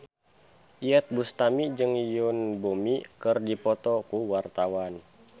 Iyeth Bustami jeung Yoon Bomi keur dipoto ku wartawan